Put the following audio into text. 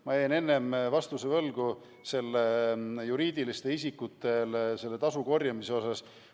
Ma jäin enne vastuse võlgu juriidiliste isikute tasu korjamise kohapealt.